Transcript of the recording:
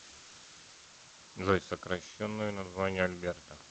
джой сокращенное название альберта